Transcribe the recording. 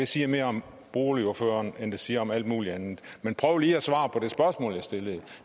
siger mere om ordføreren end det siger om alt muligt andet men prøv lige at svare på det spørgsmål jeg stillede